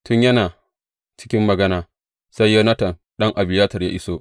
Tun yana cikin magana, sai Yonatan ɗan Abiyatar ya iso.